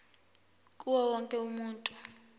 kuwo wonke umuntu